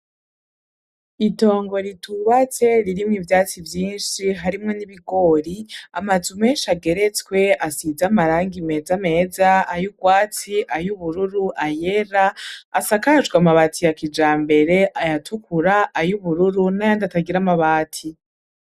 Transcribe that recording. Itongo ritubatse ririmwo ivyatsi vyinshi, harimwo n'ibigori, amazu menshi ageretswe , asize amarangi meza meza: ay'urwatsi, ay'ubururu, ayera asakajwe amabati ya kijambere ayatukura, ay'ubururu n'ayandi atagira amabati.